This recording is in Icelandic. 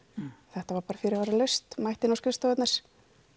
þetta var bara fyrirvaralaust þeir mættu inn á skrifstofurnar